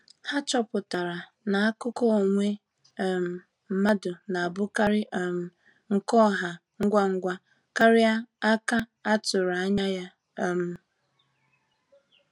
Há chọ̀pụtara na àkụ̀kọ̀ onwe um mmadụ na-abụkarị um nke ọ̀hà ngwa ngwa kárị à ka a tụrụ anya. um